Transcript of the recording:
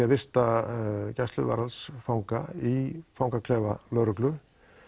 að vista gæsluvarðhaldsfanga í fangaklefa lögreglu